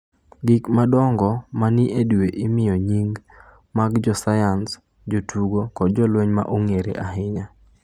Gik madongo ma ni e dwe imiye nying’ mag jo sayans, jotugo kod jolweny ma ong’ere ahinya.